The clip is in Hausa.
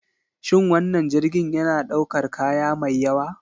Shin wannan jirgin yana ɗaukar kaya mai yawa?